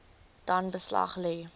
dan beslag lê